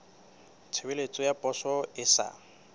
tshebeletso ya poso e sa